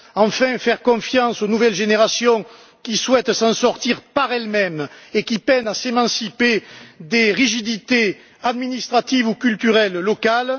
Enfin, faire confiance aux nouvelles générations qui souhaitent s'en sortir par elles mêmes et qui peinent à s'émanciper des rigidités administratives ou culturelles locales.